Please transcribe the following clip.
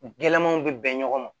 Gɛlɛmanw bɛ bɛn ɲɔgɔn ma